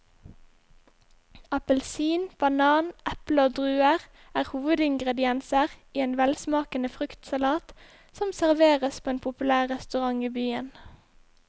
Appelsin, banan, eple og druer er hovedingredienser i en velsmakende fruktsalat som serveres på en populær restaurant i byen.